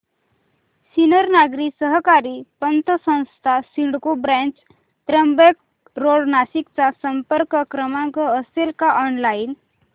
Sinnar Nagari Sahakari Patsanstha CIDCO branch Trimbak road Nashik चा संपर्क क्रमांक असेल का ऑनलाइन